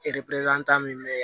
E depi an ta min be ye